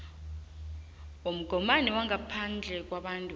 womgomani ngaphandle kwabantu